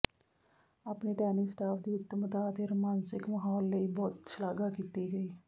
ਆਪਣੇ tennis staff ਦੀ ਉੱਤਮਤਾ ਅਤੇ ਰੋਮਾਂਸਿਕ ਮਾਹੌਲ ਲਈ ਬਹੁਤ ਸ਼ਲਾਘਾ ਕੀਤੀ ਗਈ